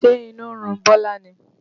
Ṣe inú ń run Bọlá ni?